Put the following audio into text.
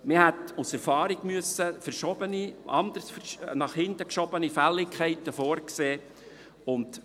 Man hätte aus Erfahrung nach hinten geschobene Fälligkeiten vorsehen müssen.